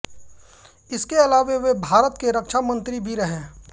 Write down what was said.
इसके अलावा वे भारत के रक्षा मन्त्री भी रहे